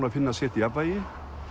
að finna sitt jafnvægi